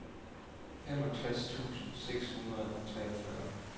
femogtres tusind seks hundrede og treogfyrre